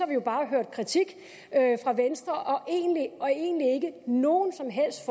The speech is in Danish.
vi jo bare hørt kritik fra venstre og egentlig ikke nogen som helst